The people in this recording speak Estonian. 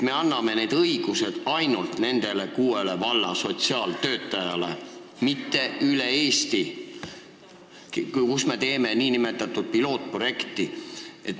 Me anname need õigused ainult nende kuue valla sotsiaaltöötajatele, kus me teeme pilootprojekti, mitte üle Eesti.